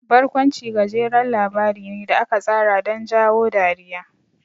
Barkwanci gajeren labari ne da aka tsara don jawo dariya.